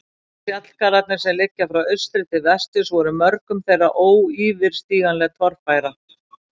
Fjallgarðarnir, sem liggja frá austri til vesturs, voru mörgum þeirra óyfirstíganleg torfæra.